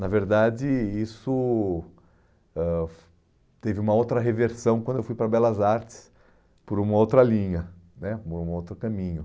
Na verdade, isso ãh teve uma outra reversão quando eu fui para Belas Artes por uma outra linha né, por um outro caminho.